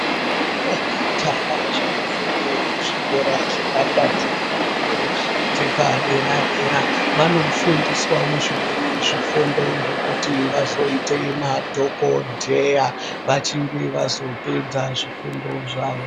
Ndombi nemajaha zvinofunde kuzvikora zvepakati fundo dzepadera-dera , vanofundiswawo zvimweni zvifundo zvekuti vazoite madhokodheya, vachinge vazopedza zvifundo zvavo.